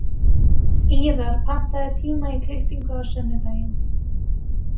Ýrar, pantaðu tíma í klippingu á sunnudaginn.